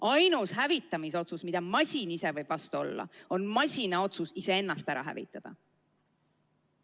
Ainus hävitamisotsus, millele masin saab vastu olla, on masina otsus iseennast hävitada.